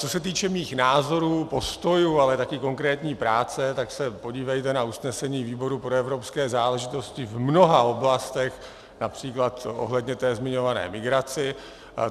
Co se týče mých názorů, postojů, ale také konkrétní práce, tak se podívejte na usnesení výboru pro evropské záležitosti v mnoha oblastech, například ohledně té zmiňované migrace.